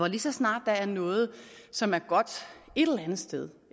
lige så snart der er noget som er godt et eller andet sted